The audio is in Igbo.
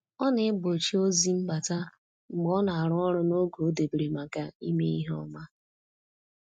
Ọ na-egbochi ozi mbata mgbe ọ na-arụ ọrụ n’oge o debere maka ime ihe ọma.